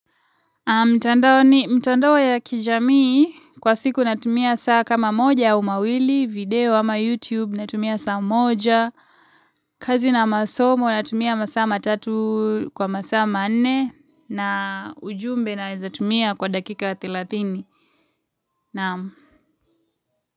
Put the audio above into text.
Mitandaoni mitandao ya kijamii kwa siku natumia saa kama moja mawili video ama youtube natumia saa moja kazi na masomo natumia masaa matatu kwa masaa manne na ujumbe naeza tumia kwa dakika ya thelathini. Naam.